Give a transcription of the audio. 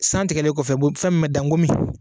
Santigɛlen kɔfɛ fɛn min bɛ da nkomi!